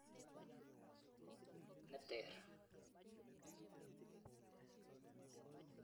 Ne teer.